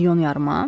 Milyon yarıma?